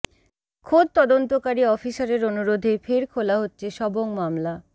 খোদ তদন্তকারী অফিসারের অনুরোধেই ফের খোলা হচ্ছে সবং মামলা